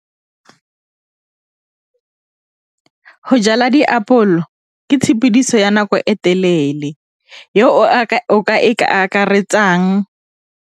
Go jala diapole go ke tshepidiso ya nako e telele o ka akaretsang.